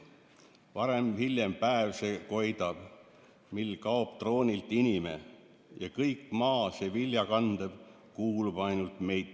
/ Varem-hiljem päev see koidab, / mil kaob troonilt inime, / ja kõik maa see viljakandev / kuulub ainult meitele.